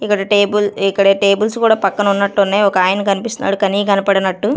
ఇక్కడ టేబుల్ ఇక్కడ టేబుల్స్ కూడా పక్కన ఉన్నట్టున్నాయి ఒకాయన కనిపిస్తున్నాడు కని కనపడనట్టు.